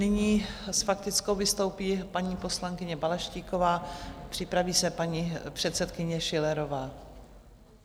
Nyní s faktickou vystoupí paní poslankyně Balaštíková, připraví se paní předsedkyně Schillerová.